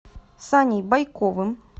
саней байковым